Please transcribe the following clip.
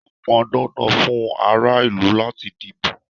Ó pọn dandan fún ara ìlú láti díbó.